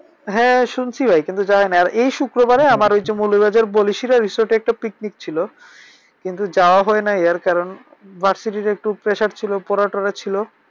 হ্যাঁ শুনছি ভাই। কিন্তু যাইনাই। আর এই শুক্রবার আমার ঐযে মৌলুভিবাজার বলিসির resource একটা picnic ছিল। কিন্তু যাওয়া হয়নাই এর কারণ versity তে একটু pressure ছিল। পড়া টরা ছিল।